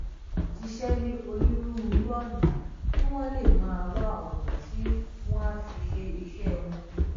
ṣiṣẹ ní onírúurú ọnà kí wọn lè máa wá ònà tí wọn á fi ṣe iṣẹ wọn